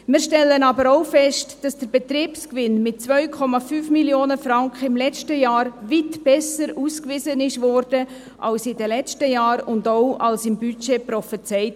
Wir stellen aber auch fest, dass der Betriebsgewinn mit 2,5 Mio. Franken im letzten Jahr weit besser ausgewiesen wurde als in den letzten Jahren und auch als im Budget prophezeit.